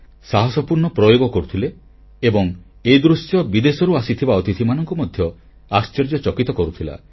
ସାହାସପୂର୍ଣ୍ଣ ପ୍ରୟୋଗ କରୁଥିଲେ ଏବଂ ଏଦୃଶ୍ୟ ବିଦେଶରୁ ଆସିଥିବା ଅତିଥିମାନଙ୍କୁ ମଧ୍ୟ ଆଶ୍ଚର୍ଯ୍ୟ ଚକିତ କରୁଥିଲା